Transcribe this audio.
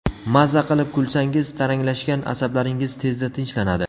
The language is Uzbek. Maza qilib kulsangiz, taranglashgan asablaringiz tezda tinchlanadi.